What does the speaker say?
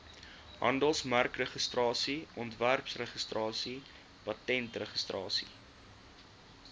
handelsmerkregistrasie ontwerpregistrasie patentregistrasie